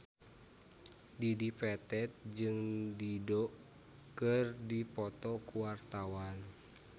Dedi Petet jeung Dido keur dipoto ku wartawan